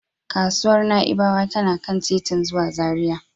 Kasuwar Na'ibawa tana kan titin zuwa Zaria.